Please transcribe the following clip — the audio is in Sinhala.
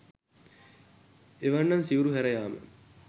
එවැන්නන් සිවුරු හැර යාම